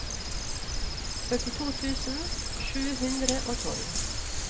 førtito tusen sju hundre og tolv